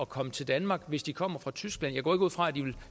komme til danmark hvis de kommer fra tyskland jeg går ikke ud fra at de vil